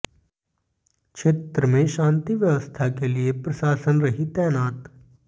क्षेत्र में शांति व्यवस्था के लिए प्रशाशन रही तैनात